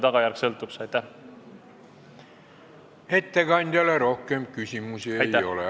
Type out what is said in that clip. Ettekandjale rohkem küsimusi ei ole.